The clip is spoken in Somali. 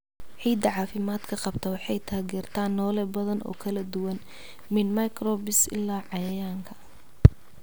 Ciidda caafimaadka qabta waxay taageertaa noole badan oo kala duwan, min microbes ilaa cayayaanka.